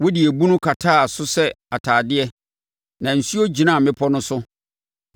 Wode ebunu kataa so sɛ atadeɛ na nsuo gyinaa mmepɔ no so.